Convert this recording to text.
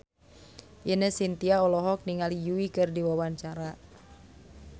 Ine Shintya olohok ningali Yui keur diwawancara